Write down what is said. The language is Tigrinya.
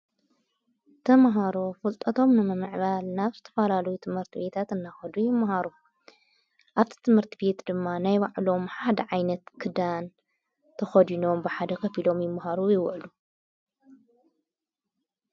ተምሃሮ ፍልጠቶም ነመምዕባል ናፍስ ተፍላሉ ጥመርቲ ቤታት እናኸዱ ይመሃሩ ኣብቲ ጥመርቲ ቤት ድማ ናይ ባዕሎም ሓደ ዓይነት ክዳን ተኸድኖዎም ብሓደ ከፊሎም ይመሃሩ ይውዕሉ።